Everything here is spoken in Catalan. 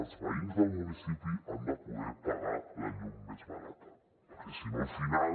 els veïns del municipi han de poder pagar la llum més barata perquè si no al final